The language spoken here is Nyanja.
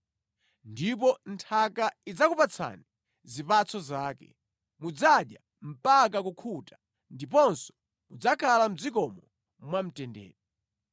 Ndipo nthaka idzakupatsani zipatso zake. Mudzadya mpaka kukhuta ndiponso mudzakhala mʼdzikomo mwamtendere.